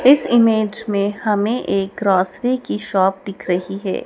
इस इमेज में हमें एक ग्रोसरी की शॉप दिख रही है।